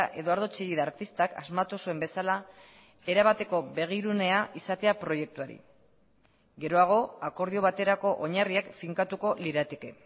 eduardo chillida artistak asmatu zuen bezala erabateko begirunea izatea proiektuari geroago akordio baterako oinarriak finkatuko lirateke